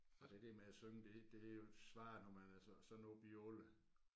Og det der med at synge det det er jo svært når man er så sådan oppe i alderen